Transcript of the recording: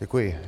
Děkuji.